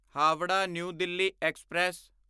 Howrah New Delhi express